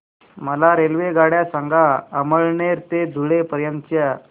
मला रेल्वेगाड्या सांगा अमळनेर ते धुळे पर्यंतच्या